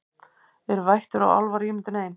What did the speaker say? Eru vættir og álfar ímyndun ein